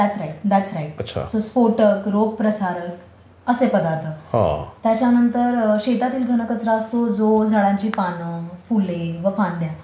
That's right, that's right. So स्फोटक, रोग प्रसारक असे पदार्थ. त्याच्यानंतर शेतातील घनकचरा असतो जो झाडांची पाने, फुले व फांद्या